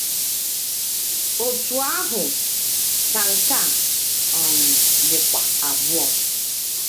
Otú ahụ ka nke a um dịkwa abụọ.